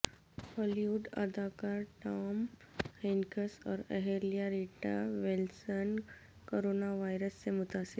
ہالی ووڈ اداکار Tom Hanks اور اہلیہ ریٹا ویلسن کوروناوائرس سے متاثر